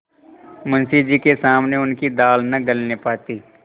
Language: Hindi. मुंशी जी के सामने उनकी दाल न गलने पाती